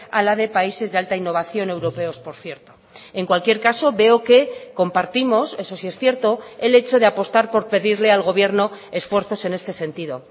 a la de países de alta innovación europeos por cierto en cualquier caso veo que compartimos eso sí es cierto el hecho de apostar por pedirle al gobierno esfuerzos en este sentido